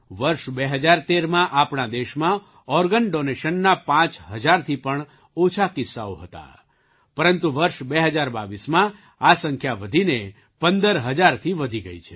વર્ષ 2013માં આપણા દેશમાં ઑર્ગન ડૉનેશનના પાંચ હજારથી પણ ઓછા કિસ્સાઓ હતા પરંતુ વર્ષ 2022માં આ સંખ્યા વધીને ૧૫ હજારથી વધી ગઈ છે